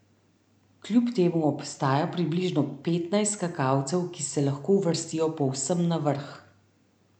Kljub temu obstaja približno petnajst skakalcev, ki se lahko uvrstijo povsem na vrh.